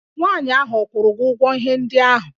Nwaanyị ahụ ọ kwụrụ ụgwọ ihe ndị ahụ?